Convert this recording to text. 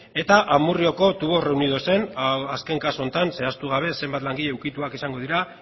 eta amurrioko tubos reunidosen azken kasu honetan zehaztu gabe zenbat langile ukituak izango dira